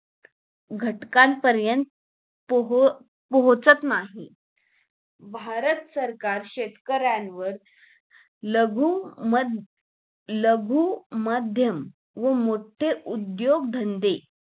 घटक पर्यंत पोह पोहचत नाही भारत सरकार शेतकऱ्यावर लघु म लखू मध्यम व मोठे उद्दोग धंदे